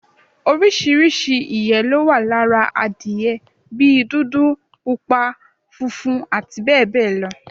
Oríṣiríṣi ìyé ló wà lára adiye bí dúdú, pupa, funfun abbl